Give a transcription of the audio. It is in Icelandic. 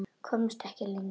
Komst ekki lengra.